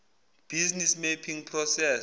business mapping process